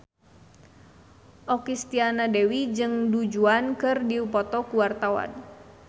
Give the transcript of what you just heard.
Okky Setiana Dewi jeung Du Juan keur dipoto ku wartawan